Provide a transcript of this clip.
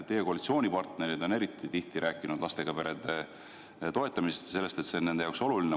Teie koalitsioonipartnerid on eriti tihti rääkinud lastega perede toetamisest ja sellest, et see on nende jaoks oluline.